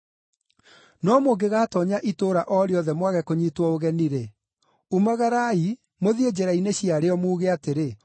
No mũngĩgatoonya itũũra o rĩothe mwage kũnyiitwo ũgeni-rĩ, umagarai, mũthiĩ njĩra-inĩ ciarĩo muuge atĩrĩ,